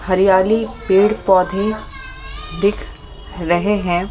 हरियाली पेड़-पौधे दिख रहे हैं ।